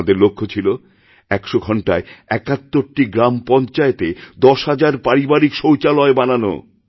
তাঁদের লক্ষ্য ছিল ১০০ ঘণ্টায় ৭১ টি গ্রাম পঞ্চায়েতেদশ হাজার পারিবারিক শৌচালয় বানানো